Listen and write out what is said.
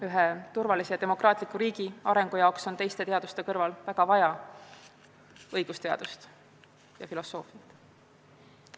Ühe turvalise ja demokraatliku riigi arengu jaoks on teiste teaduste kõrval väga vaja õigusteadust ja -filosoofiat.